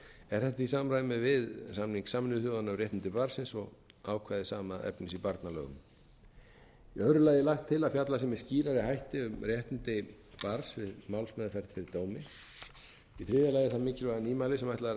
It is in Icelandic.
er þetta í samræmi við samning sameinuðu þjóðanna um réttindi barnsins og ákvæði sama efnis í barnalögum í öðru lagi er lagt til að fjallað verði með skýrari hætti um réttindi barns við málsmeðferð til dóms í þriðja lagi það mikilvæga nýmæli sem ætlað er að